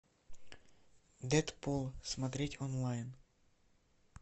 дэдпул смотреть онлайн